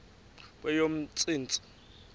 kweyomntsintsi